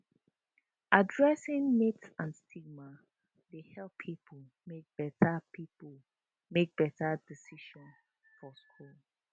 addressing myths and stigma dey help pipo make better pipo make better decisions for school